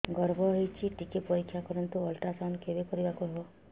ଗର୍ଭ ହେଇଚି ଟିକେ ପରିକ୍ଷା କରନ୍ତୁ ଅଲଟ୍ରାସାଉଣ୍ଡ କେବେ କରିବାକୁ ହବ